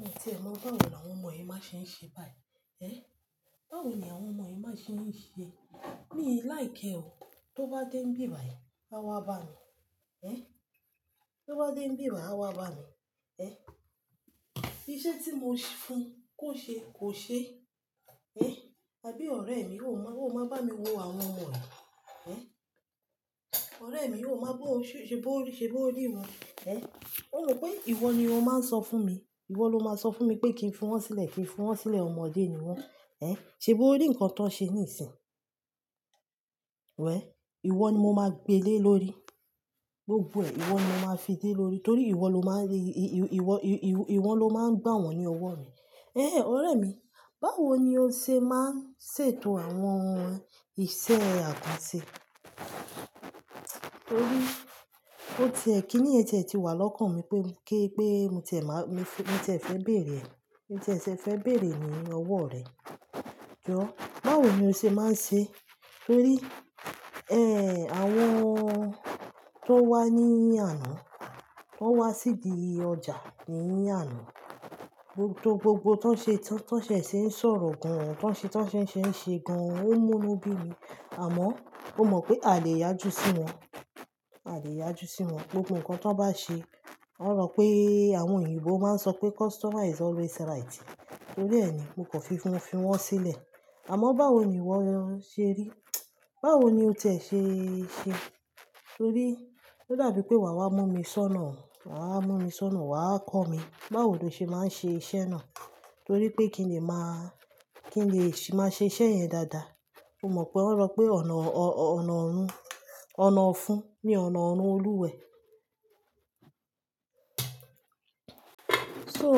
Mo tẹ̀ẹ́ mọ́, báwo ni àwọn ọmọ yìí má ṣe ń ṣe báyìí? Ê! Báwo ni àwọn ọmọ yìí má ṣe ń ṣe? Mi láì kẹ́ ọ, tó bá dé bíbàyè, á wá bá mi. Ê! Tó bá dé bíbàyè, á wá bá mi. Ê! Iṣẹ́ tí mo fún kò ṣe, kò ṣe. Ê! Tàbí ọ̀rẹ́ mi, ó máa bá mi wo àwọn ọmọ rẹ̀. Ê! Ọ̀rẹ́ mi, ó máa gbọ́, ṣé bó rí wọn? Ê! Ó mọ pé ìwọ ni ó máa ń sọ fún mi. Ìwọ ló máa ń sọ fún mi pé kí n fún wọn sílẹ̀, kí n fún wọn sílẹ̀, ọmọdé ni wọ́n. Ê! Ṣé bó rí ǹkan tó ṣe níìsín? Wẹ̀! Ìwọ ni mo máa gbe lé lórí. Gbogbo ẹ̀, ìwọ ni mo máa fi dé lórí. Nítorí ìwọ ló máa ń gba wọ́n ní ọwọ́ mi. Ẹ́n! Ọ̀rẹ́ mi, báwo ni o ṣe máa ń ṣètò àwọn ìṣe àkànṣe? Torí ó ti ẹ̀, kí ni ẹ̀ jẹ ti wà lọ́kàn mi pé mo tẹ̀ẹ́ fẹ́ bèèrè ẹ. Mo tẹ̀ẹ́ fẹ́ bèèrè ní ọwọ́ rẹ. Jọ́, báwo ni o ṣe máa ń ṣe? Torí, ẹ́n, àwọn tó wá ní àná, wọ́n wá síbi ọjà ní àná. Gbogbo tó ṣe ń sọ̀rọ̀ gan-an, tó ṣe ń ṣe gan-an, ó mú lóbìí mi. Àmọ́ ó mọ̀ pé a lè yájú sí wọn. A lè yájú sí wọn. Gbogbo ǹkan tó bá ṣe, wọ́n rọ pé àwọn òyìnbó máa ń sọ pé customer is always right. Torí ẹ ni mo kò fi fún wọn sílẹ̀. Àmọ́ báwo ni ìwọ ṣe rí? Báwo ni o tẹ̀ẹ́ ṣe ṣẹ? Torí ó dàbí pé wà wá mú mi sónà. Wà wá mú mi sónà, wà á kọ́ mi báwo ni o ṣe máa ń ṣe iṣẹ́ náà. Torí pé kí n lè máa ṣe iṣẹ́ yẹn dáadáa. O mọ̀ pé wọ́n rọ pé ọ̀nà ọ̀fun ni ọ̀nà ọ̀run Olúwẹ̀. So,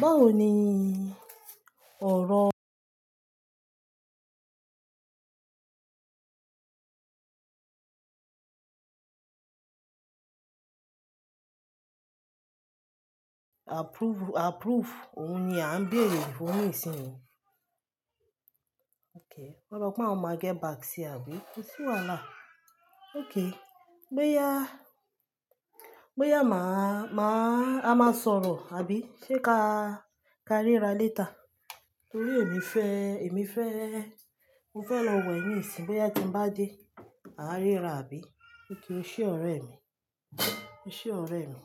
báwo ni ọ̀rọ̀ Approve, approve. Òun ni à ń bèèrè. Òun nìṣinyìí. Okay. Wọ́n rọ pé wọ́n máa gẹ́ back sí ẹ, àbí? Kò sí wàhálà. Okay. Gbé ya, gbé ya a máa sọ̀rọ̀, àbí? Ṣé ká ríra later? Torí èmi fẹ́, èmi fẹ́, mo fẹ́ lọ wẹ̀ níìsín. Gbé ya kí n bá dé, a á ríra, àbí? Kí kí o ṣe ọ̀rẹ́ mi. Ṣe ọ̀rẹ́ mi.